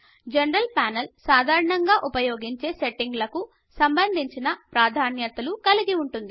general panel సాధారణంగా ఉపయోగించే సెట్టింగులకు సంబంధించిన ప్రాధాన్యతలను కలిగి ఉంటుంది